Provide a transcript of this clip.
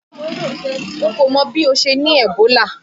N kò mọ bí ó ṣe ní Ebola.